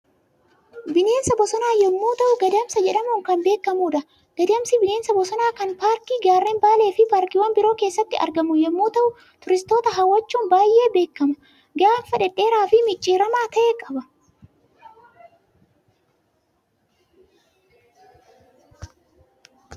Bineensa bosonaa yommuu ta'u Gadamsa jedhamuun kan beekamudha. Gadamsi bineensa bosonaa kan paarkii gaarreen baalee fi paarkiiwwan biroo keessatti argamu yommuu ta'u, turistoota hawwachuun baay'ee beekama. Gaanfa dhedheeraa fi micciiramaa ta'e qaba.